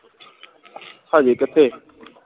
ਹਜੇ ਕਿੱਥੇ